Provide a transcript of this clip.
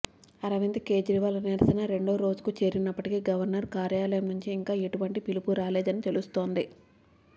అరవింద్ కేజ్రీవాల్ నిరసన రెండో రోజుకు చేరినప్పటికీ గవర్నర్ కార్యాలయం నుంచి ఇంకా ఎటువంటి పిలుపూ రాలేదని తెలుస్తోంది